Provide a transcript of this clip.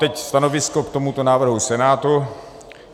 Teď stanovisko k tomuto návrhu Senátu.